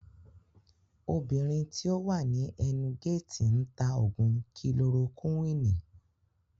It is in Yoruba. Obìnrin tí ó wà ní ẹnu géètì ń tà Ògùn kilorokuwini